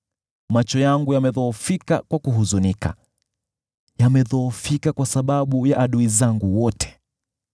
Macho yangu yamedhoofika kwa kuhuzunika, yamedhoofika kwa sababu ya adui zangu wote.